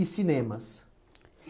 E cinemas?